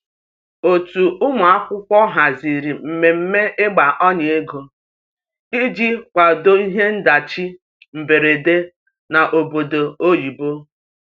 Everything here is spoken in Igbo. otu ụmụakwụkwọ haziri mmeme igba ọnya ego ịjị kwado ihe ndachi mgberede n'obodo oyibo